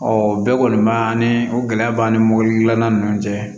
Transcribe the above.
Ɔ o bɛɛ kɔni b'a ni o gɛlɛya b'an ni mɔbili dilanna ni ɲɔgɔn cɛ